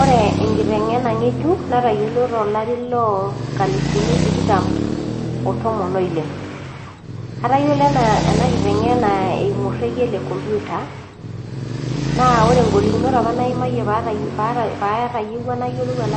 Ore enkiteng'ena ng'ejuk natayiolo too lati loo nkalifuni tikitam oo tomon oile atayiolo ena kitengena eyimu orekie lee nkoitoi ee kompita naa ore golikinot apa nayimayie pee etayiwua